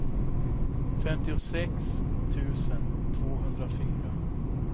femtiosex tusen tvåhundrafyra